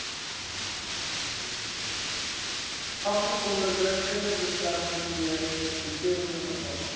afgesonderde kinderbeskermingseenhede vervang